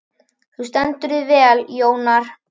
Þú stendur þig vel, Jónar!